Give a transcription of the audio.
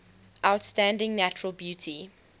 outstanding natural beauty